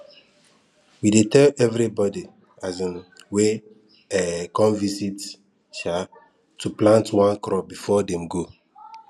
we dey tell everybody um wey um come visit um to plant one crop before dem go